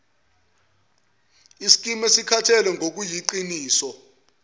iskimu esikhathalele ngokuyiqiniso